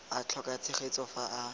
a tlhoka tshegetso fa a